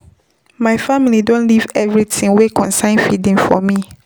My family don leave everytin wey concern feeding for me.